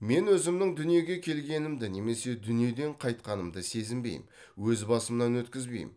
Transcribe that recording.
мен өзімнің дүниеге келгенімді немесе дүниеден қайтқанымды сезінбеймін өз басымнан өткізбеймін